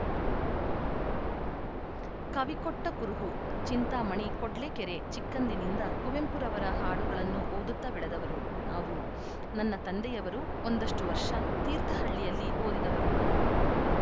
ಕವಿ ಕೊಟ್ಟಕುರುಹು ಚಿಂತಾಮಣಿ ಕೊಡ್ಲೆಕೆರೆ ಚಿಕ್ಕಂದಿನಿಂದ ಕುವೆಂಪುರವರ ಹಾಡುಗಳನ್ನು ಓದುತ್ತ ಬೆಳೆದವರು ನಾವು ನನ್ನ ತಂದೆಯವರು ಒಂದಷ್ಟುವರ್ಷ ತೀರ್ಥಹಳ್ಳಿಯಲ್ಲಿ ಓದಿದವರು